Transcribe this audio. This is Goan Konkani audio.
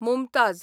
मुमताझ